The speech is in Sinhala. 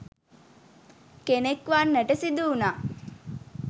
කෙනෙක් වන්නට සිදු වුණා